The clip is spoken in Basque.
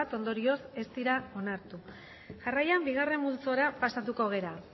ondorioz ez dira onartu jarraian bigarren multzora pasatuko gara